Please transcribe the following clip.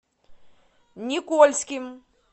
никольским